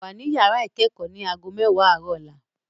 Wà ní yàrá ìkẹ́kọ̀ọ́ ní ago mẹwa àárọ̀ lọ́la